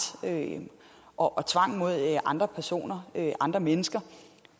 og tvang mod andre personer andre mennesker